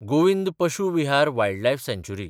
Govind Pashu Vihar wildlife सँचुरी